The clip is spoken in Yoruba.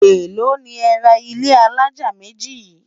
èlò ní é rà ilé alájá méjì yin?